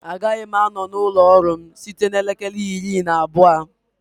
Agaghị m anọ na ụlọ ọrụ m site na elekere iri na abụọ